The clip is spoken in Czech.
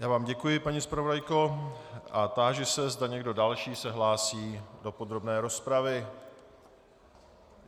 Já vám děkuji, paní zpravodajko, a táži se, zda někdo další se hlásí do podrobné rozpravy.